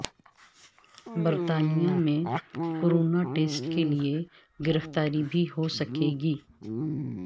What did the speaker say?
برطانیہ میں corona test کے لیے گرفتاری بھی ہو سکے گی